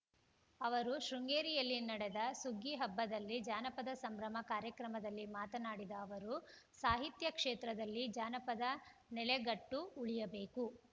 ಅವರು ಶೃಂಗೇರಿಯಲ್ಲಿ ನಡೆದ ಸುಗ್ಗಿ ಹಬ್ಬದಲ್ಲಿ ಜಾನಪದ ಸಂಭ್ರಮ ಕಾರ್ಯಕ್ರಮದಲ್ಲಿ ಮಾತನಾಡಿದ ಅವರು ಸಾಹಿತ್ಯ ಕ್ಷೇತ್ರದಲ್ಲಿ ಜಾನಪದ ನೆಲೆಗಟ್ಟು ಉಳಿಯಬೇಕು